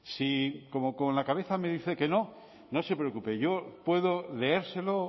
si como con la cabeza me dice que no no se preocupe yo puedo leérselo